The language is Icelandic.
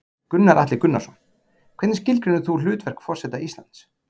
Gunnar Atli Gunnarsson: Hvernig skilgreinir þú hlutverk forseta Íslands?